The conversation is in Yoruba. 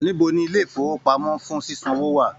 Níbo ní ilé ifowopamọ fún ṣiṣanwo wà?